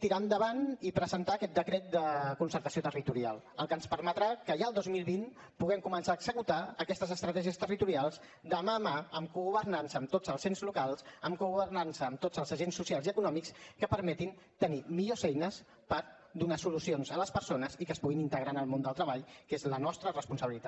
tirar endavant i presentar aquest decret de concertació territorial el que ens permetrà que ja el dos mil vint puguem començar a executar aquestes estratègies territorials de mà a mà amb cogovernança amb tots els ens locals amb cogovernança amb tots els agents socials i econòmics que permetin tenir millors eines per donar solucions a les persones i que es puguin integrar en el món del treball que és la nostra responsabilitat